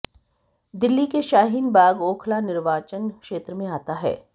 दिल्ली के शाहीन बाग ओखला निर्वाचन क्षेत्र में आता है